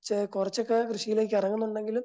കുറച്ചൊക്കെ കൃഷിയിലേക്കിറങ്ങുന്നുണ്ടെങ്കിലും